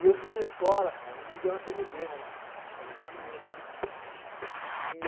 E eu fui na escola, cara, e me deu uma tremedeira, eu não consegui fazer, eu tive medo do cara.